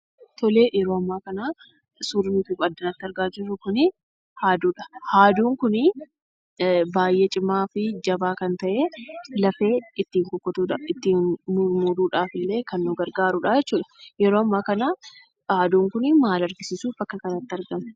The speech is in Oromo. Yeroo ammaa kana suurri nuti addanatti argaa jirru kun haaduudha. Haaduun kun baay'ee cimaa fi jabaa kan ta'ee, lafee ittiin mummuruudhaaf illee kan nu gargaaruudha. Yeroo ammaa kana haaduun kun maal argisiisuuf akka kanaatti argame?